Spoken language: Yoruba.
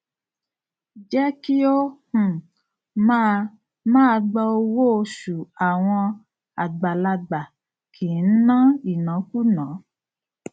jẹ ki o um máa máa gbà owó oṣù àwọn àgbàlagbà kìí ń ná ìnákúùná